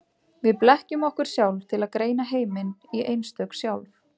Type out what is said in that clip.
Við blekkjum okkur sjálf til að greina heiminn í einstök sjálf.